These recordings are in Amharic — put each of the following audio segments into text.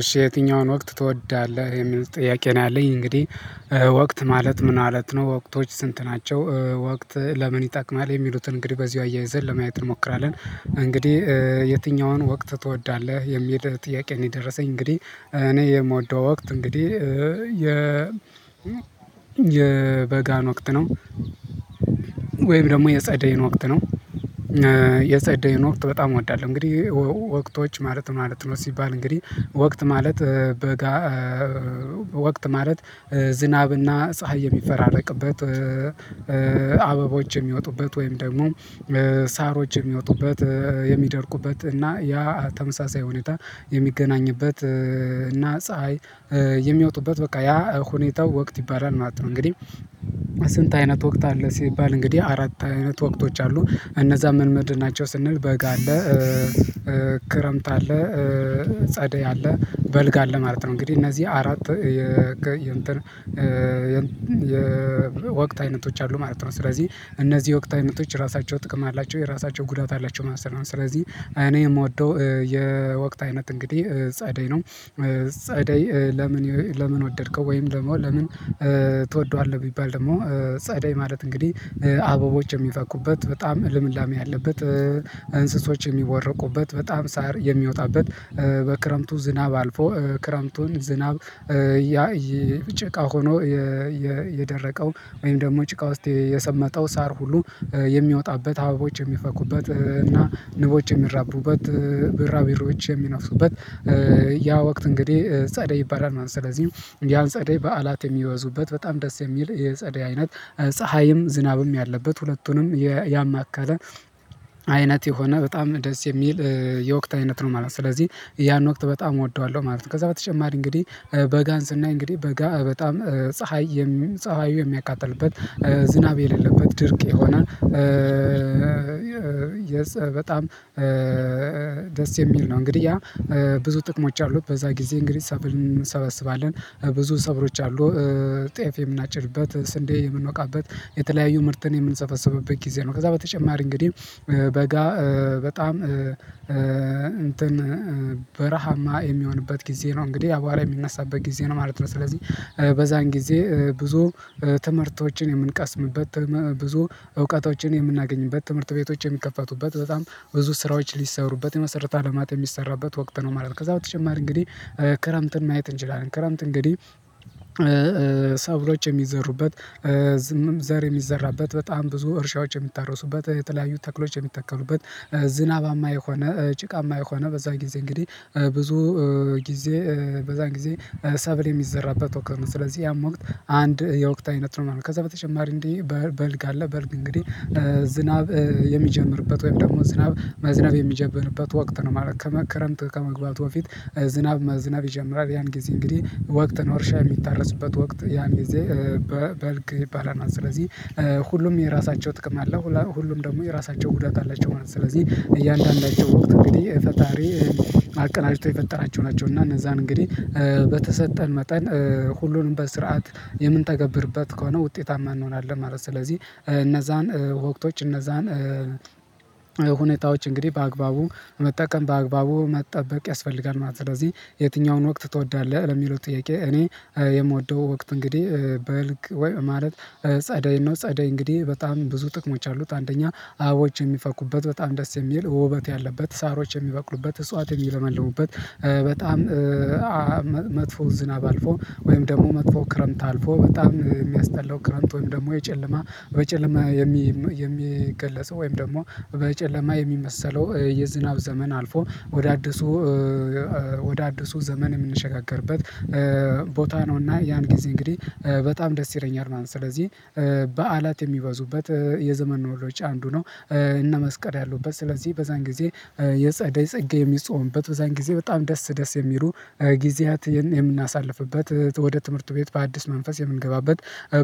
እሺ የትኛውን ወቅት ትወዳለህ የሚል ጥያቄ ነው ያለኝ እንግዲህ ወቅት ማለት ምን ማለት ነው ወቅቶች ስንት ናቸው? ወቅት ለምን ይጠቅማል የሚሉትን እንግዲህ በዚሁ አያይዘን ለማየት እንሞክራለን። እንግዲህ የትኛውን ወቅት ትወዳለህ የሚል ጥያቄ ነው የደረሰኝ እንግዲህ እኔ የምወደው ወቅት እንግዲህ የ የበጋን ወቅት ነው። ወይም ደግሞ የጸደይን ወቅት ነው፤ የጸደይን ወቅት በጣም እወዳለሁ። እንግዲህ ወቅቶች ማለት ማለት ነው ሲባል እንግዲህ ወቅት ማለት በጋ ወቅት ማለት ዝናብና ፀሀይ የሚፈራረቅበት አበቦች የሚወጡበት ወይም ደግሞ ሳሮች የሚወጡበት የሚደርቁበት እና ያ ተመሳሳይ ሁኔታ የሚገናኝበት እና ፀሀይ የሚወጡበት በቃ ያ ሁኔታው ወቅት ይባላል ማለት ነው። እንግዲህ ስንት አይነት ወቅት አለ ሲባል እንግዲህ አራት አይነት ወቅቶች አሉ እነዛ ምን ምንድናቸው? ስንል በጋ አለ ክረምት አለ ጸደይ አለ በልጋ አለ ማለት ነው። እንግዲህ እነዚህ አራት የ የወቅት አይነቶች አሉ ማለት ነው። ስለዚህ እነዚህ የወቅት አይነቶች ራሳቸው ጥቅም አላቸው የራሳቸው ጉዳት አላቸው ማለት ነው። ስለዚህ እኔ የምወደው የወቅት አይነት እንግዲህ ጸደይ ነው። ጸደይ ለምን ለምን ወደድከው ወይም ደግሞ ለምን ትወደዋለህ? ቢባል ደግሞ ጸዳይ ማለት እንግዲህ አበቦች የሚፈኩበት በጣም ልምላሜ ያለበት እንስሶች የሚወረቁበት በጣም ሳር የሚወጣበት በክረምቱ ዝናብ አልፎ ክረምቱን ዝናብ ያ ጭቃ ሆኖ የደረቀው ወይም ደግሞ ጭቃ ውስጥ የሰመጠው ሳር ሁሉ የሚወጣበት አባቦች የሚፈኩበት እና ንቦች የሚራቡበት ቢራቢሮች የሚነፍሱበት ያ ወቅት እንግዲህ ጸደይ ይባላል ማለት ነው። ስለዚህ ያን ጸደይ በዓላት የሚወዙበት በጣም ደስ የሚል የጸዴ አይነት ፀሀይም ዝናብም ያለበት ሁለቱንም ያማከለ አይነት የሆነ በጣም ደስ የሚል የወቅት አይነት ነው ማለት ነው። ስለዚህ ያን ወቅት በጣም እወደዋለሁ ማለት ነው። ከዛ በተጨማሪ እንግዲህ በጋን ስናይ እንግዲህ በጋ በጣም ፀሀይ ፀሀዩ የሚያቃጥልበት ዝናብ የሌለበት ድርቅ የሆነ፤። በጣም ደስ የሚል ነው እንግዲህ ያ ብዙ ጥቅሞች አሉት በዛ ጊዜ እንግዲህ ሰብል እንሰበስባለን ብዙ ሰብሎች አሉ ጤፍ የምናጭድበት ስንዴ የምንወቃበት የተለያዩ ምርትን የምንሰፈሰብበት ጊዜ ነው። ከዛ በተጨማሪ እንግዲህ በጋ በጣም እንትን በረሃማ የሚሆንበት ጊዜ ነው እንግዲህ አቧራ የሚነሳበት ጊዜ ነው ማለት ነው። ስለዚህ በዛን ጊዜ ብዙ ትምህርቶችን የምንቀስምበት ብዙ እውቀቶችን የምናገኝበት ትምህርት ቤቶች የሚከፈቱበት በጣም ብዙ ስራዎች ሊሰሩበት የመሰረተ ልማት የሚሰራበት ወቅት ነው ማለት ነው። ከዛ በተጨማሪ እንግዲህ ክረምትን ማየት እንችላለን። ክረምት እንግዲህ ሰብሎች የሚዘሩበት ዘር የሚዘራበት በጣም ብዙ እርሻዎች የሚታረሱበት የተለያዩ ተክሎች የሚተከሉበት ዝናባማ የሆነ ጭቃማ የሆነ በዛ ጊዜ እንግዲህ ብዙ ጊዜ በዛ ጊዜ ሰብል የሚዘራበት ወቅት ነው ስለዚህ ያም ወቅት አንድ የወቅት አይነት ነው ማለት ነው። ከዛ በተጨማሪ እንዴ በልግ አለ በልግ እንግዲህ ዝናብ የሚጀምርበት ወይም ደግሞ ዝናብ መዝናብ የሚጀብርበት ወቅት ነው ማለት ነው፤። ክረምት ከመግባቱ በፊት ዝናብ መዝነብ ይጀምራል ያን ጊዜ እንግዲህ ወቅት ነው እርሻ የሚታረስበት ወቅት ያም ጊዜ በልግ ይባላል። ስለዚህ ሁሉም የራሳቸው ጥቅም አለ ሁሉም ደግሞ የራሳቸው ጉዳት አላቸው ማለት ነው። ስለዚህ እያንዳንዳቸው ወቅት እንግዲህ ፈጣሪ አቀናጅቶ የፈጠራቸው ናቸው እና እነዛን እንግዲህ በተሰጠን መጠን ሁሉንም በስርዓት የምንተገብርበት ከሆነ ውጤታማ እንሆናለን ማለት ነው። ስለዚህ እነዛን ወቅቶች እነዛን ሁኔታዎች እንግዲህ በአግባቡ መጠቀም በአግባቡ መጠበቅ ያስፈልጋል ማለት ነው። ስለዚህ የትኛውን ወቅት ትወዳለህ ለሚሉት ጥያቄ እኔ የምወደው ወቅት እንግዲህ በልግ ማለት ጸደይ ነው። ጸደይ እንግዲህ በጣም ብዙ ጥቅሞች አሉት አንደኛ አበቦች የሚፈኩበት በጣም ደስ የሚል ውበት ያለበት ሳሮች የሚበቅሉበት እጽዋት የሚለመልሙበት በጣም መጥፎ ዝናብ አልፎ ወይም ደግሞ መጥፎ ክረምት አልፎ በጣም የሚያስጠላው ክረምት ወይም ደግሞ የጨለማ በጨለማ የሚገለጸው ወይም ደግሞ በጨለማ የሚመሰለው የዝናብ ዘመን አልፎ ወደ አዲሱ ወደ አዲሱ ዘመን የምንሸጋገርበት ቦታ ነውና ያን ጊዜ እንግዲህ በጣም ደስ ይለኛል ማለት ነው። ስለዚህ በዓላት የሚበዙበት የዘመን መለወጫ አንዱ ነው እነ መስቀል ያሉበት ስለዚህ በዛን ጊዜ የጸደይ ጸጌ የሚጾምበት በዛን ጊዜ በጣም ደስ ደስ የሚሉ ጊዜያት የምናሳልፍበት ወደ ትምህርቱ ቤት በአዲስ መንፈስ የምንገባበት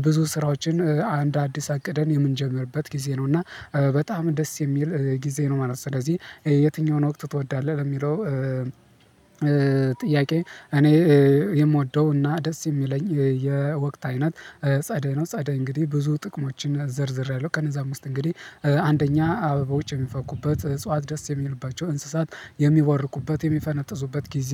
ብዙ ስራዎችን አንድ አዲስ አቅደን የምንጀምርበት ጊዜ ነው። እና በጣም ደስ የሚል ጊዜ ነው ማለት ነው። ስለዚህ የትኛውን ወቅት ትወዳለህ? ለሚለው ጥያቄ እኔ የምወደው እና ደስ የሚለኝ የወቅት አይነት ጸደይ ነው። ጸደይ እንግዲህ ብዙ ጥቅሞችን ዘርዝሬያለሁ ከነዛ ውስጥ እንግዲህ አንደኛ አበቦች የሚፈኩበት እጽዋት ደስ የሚልባቸው እንስሳት የሚወርቁበት የሚፈነጥዙበት ጊዜ